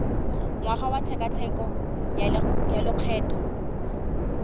ngwaga wa tshekatsheko ya lokgetho